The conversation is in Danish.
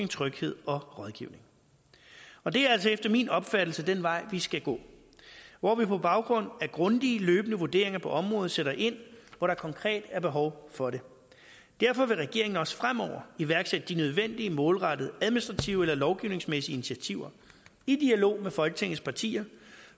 tryghed og rådgivning og det er altså efter min opfattelse den vej vi skal gå hvor vi på baggrund af grundige løbende vurderinger på området sætter ind hvor der konkret er behov for det derfor vil regeringen også fremover iværksætte de nødvendige målrettede administrative eller lovgivningsmæssige initiativer i dialog med folketingets partier